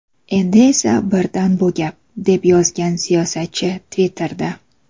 Endi esa birdan bu gap”, deb yozgan siyosatchi Twitter’da.